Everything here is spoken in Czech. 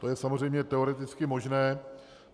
To je samozřejmě teoreticky možné.